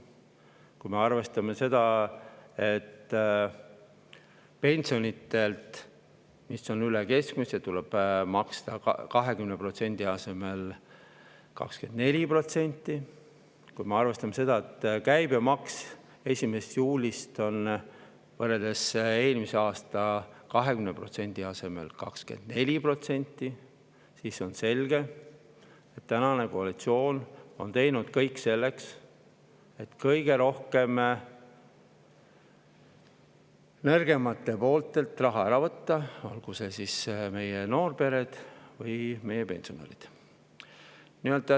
Kui me arvestame seda, et pensioni, mis on üle keskmise, tuleb maksta 20% asemel 24%, ja kui me arvestame seda, et käibemaks on 1. juulist eelmise aasta 20% asemel 24%, siis on selge, et tänane koalitsioon on teinud kõik selleks, et võtta kõige rohkem raha ära nõrgematelt, olgu need siis noorpered või pensionärid.